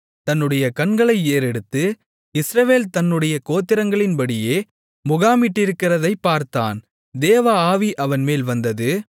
தன்னுடைய கண்களை ஏறெடுத்து இஸ்ரவேல் தன்னுடைய கோத்திரங்களின்படியே முகாமிட்டிருக்கிறதைப் பார்த்தான் தேவஆவி அவன்மேல் வந்தது